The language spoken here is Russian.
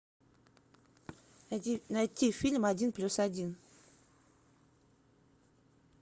найти фильм один плюс один